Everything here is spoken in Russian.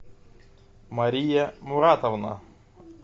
мария муратовна